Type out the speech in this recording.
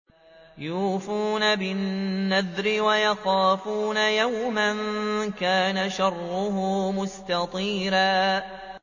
يُوفُونَ بِالنَّذْرِ وَيَخَافُونَ يَوْمًا كَانَ شَرُّهُ مُسْتَطِيرًا